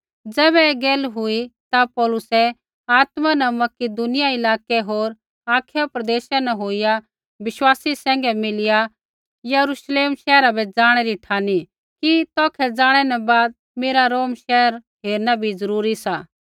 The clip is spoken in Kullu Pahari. ज़ैबै ऐ गैला हुई ता पौलुसै आत्मा न मकिदुनिया इलाकै होर अखाया प्रदेशा न होईया बिश्वासी सैंघै मिलिया यरूश्लेम शैहरा बै ज़ाणै री ठानी कि तौखै ज़ाणै न बाद मेरा रोम शैहर हेरना बी ज़रूरी सा